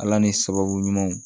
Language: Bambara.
Ala ni sababu ɲumanw